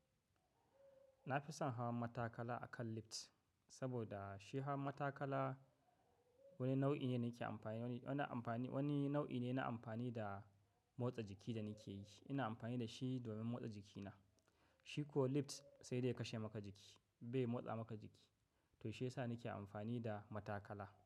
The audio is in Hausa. Na fi son hawan matakala akan lift, saboda shi hawan matakala wani nau'i ne nake amfani, wani amfani, wani nau'i ne na amfani da motsa jiki da nake yi. Ina amfani da shi domin motsa jikina. Shi ko lift sai dai ya kashe maka jiki, bai motsa maka jiki. To shiyasa nake amfani da matakala.